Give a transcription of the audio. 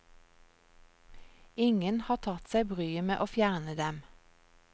Ingen har tatt seg bryet med å fjerne dem.